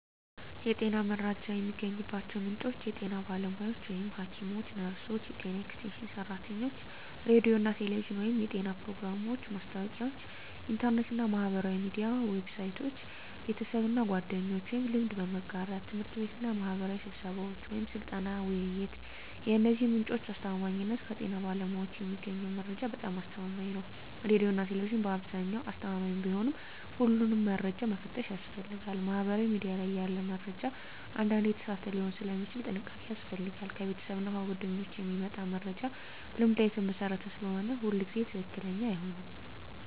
የጤና መረጃ የሚገኝባቸው ምንጮች የጤና ባለሙያዎች (ሐኪሞች፣ ነርሶች፣ የጤና ኤክስቴንሽን ሰራተኞች) ሬዲዮና ቴሌቪዥን (የጤና ፕሮግራሞች፣ ማስታወቂያዎች) ኢንተርኔት እና ማህበራዊ ሚዲያ ዌብሳይቶች) ቤተሰብና ጓደኞች (ልምድ በመጋራት) ት/ቤትና ማህበራዊ ስብሰባዎች (ስልጠና፣ ውይይት) የእነዚህ ምንጮች አስተማማኝነት ከጤና ባለሙያዎች የሚገኘው መረጃ በጣም አስተማማኝ ነው ሬዲዮና ቴሌቪዥን በአብዛኛው አስተማማኝ ቢሆንም ሁሉንም መረጃ መፈተሽ ያስፈልጋል ማህበራዊ ሚዲያ ላይ ያለ መረጃ አንዳንዴ የተሳሳተ ሊሆን ስለሚችል ጥንቃቄ ያስፈልጋል ከቤተሰብና ጓደኞች የሚመጣ መረጃ ልምድ ላይ የተመሰረተ ስለሆነ ሁሉ ጊዜ ትክክለኛ አይሆንም